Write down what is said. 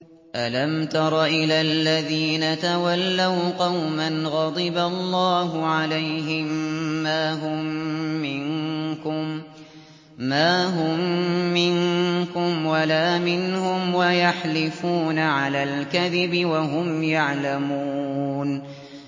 ۞ أَلَمْ تَرَ إِلَى الَّذِينَ تَوَلَّوْا قَوْمًا غَضِبَ اللَّهُ عَلَيْهِم مَّا هُم مِّنكُمْ وَلَا مِنْهُمْ وَيَحْلِفُونَ عَلَى الْكَذِبِ وَهُمْ يَعْلَمُونَ